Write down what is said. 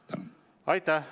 Aitäh!